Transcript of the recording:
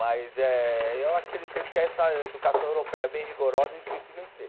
Mas é eu acredito que é essa educação europeia bem rigorosa e o espírito de vencer.